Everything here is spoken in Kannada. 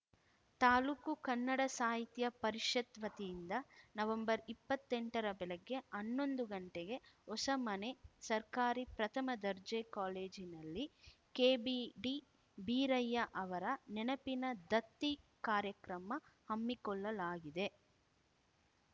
ತಾಲೂಕು ಕನ್ನಡ ಸಾಹಿತ್ಯ ಪರಿಷತ್‌ ವತಿಯಿಂದ ನವೆಂಬರ್ಇಪ್ಪತ್ತೆಂಟರ ಬೆಳಗ್ಗೆ ಹನ್ನೊಂದು ಗಂಟೆಗೆ ಹೊಸಮನೆ ಸರ್ಕಾರಿ ಪ್ರಥಮ ದರ್ಜೆ ಕಾಲೇಜಿನಲ್ಲಿ ಕೆಬಿಡಿ ಬೀರಯ್ಯ ಅವರ ನೆನಪಿನ ದತ್ತಿ ಕಾರ್ಯಕ್ರಮ ಹಮ್ಮಿಕೊಳ್ಳಲಾಗಿದೆ